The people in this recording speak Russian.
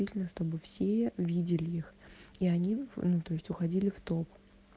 чтобы все видели их и они внутри есть уходили в топ